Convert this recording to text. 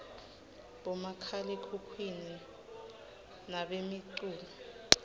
bomakhalekhhukhwini banemicculo